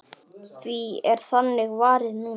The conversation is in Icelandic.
Því er þannig varið núna.